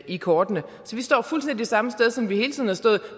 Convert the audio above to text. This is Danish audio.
i kortene så vi står fuldstændig det samme sted som vi hele tiden har stået